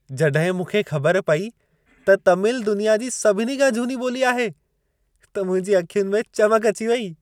जॾहिं मूंखे ख़बर पई त तमिल दुनिया जी सभिनी खां झूनी ॿोली आहे, त मुंहिंजी अखियुनि में चमक अची वेई।